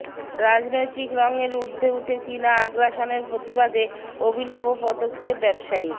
রাজনৈতিক রঙের উর্ধ্বে ওঠে চিনা আগ্রাসনের প্রতিবাদে অভিনব পদক্ষেপ ব্যবসায়ীর